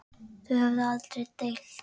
Þau höfðu aldrei deilt.